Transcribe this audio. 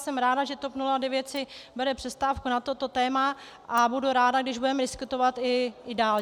Jsem ráda, že TOP 09 si bere přestávku na toto téma, a budu ráda, když budeme diskutovat i dál.